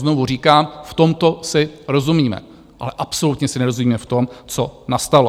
Znovu říkám, v tomto si rozumíme, ale absolutně si nerozumíme v tom, co nastalo.